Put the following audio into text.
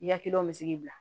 I yakiliw bɛ se k'i bila